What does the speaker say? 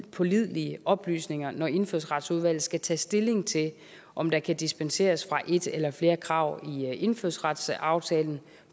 pålidelige oplysninger når indfødsretsudvalget skal tage stilling til om der kan dispenseres fra et eller flere krav i indfødsretsaftalen